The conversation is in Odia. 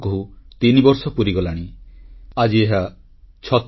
• ଲୋକତଥ୍ୟ ଆଧାରରେ ପର୍ଯ୍ୟଟନ ପ୍ରଚାରସାହିତ୍ୟ ପ୍ରସ୍ତୁତି ପାଇଁ କେନ୍ଦ୍ରର ମହତ୍ୱାକାଂକ୍ଷୀ ଯୋଜନା